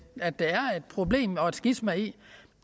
problem og et skisma i